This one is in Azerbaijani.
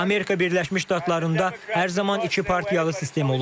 Amerika Birləşmiş Ştatlarında hər zaman iki partiyalı sistem olub.